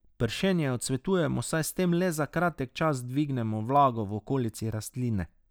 Pršenje odsvetujemo, saj s tem le za kratek čas dvignemo vlago v okolici rastline.